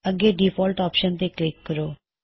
ਅੱਗੇ default option ਤੇ click ਕਰੋ